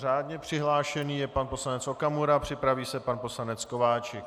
Řádně přihlášený je pan poslanec Okamura, připraví se pan poslanec Kováčik.